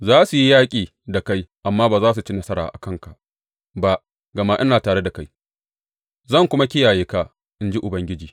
Za su yi yaƙi da kai amma ba za su ci nasara a kanka ba, gama ina tare da kai, zan kuma kiyaye ka, in ji Ubangiji.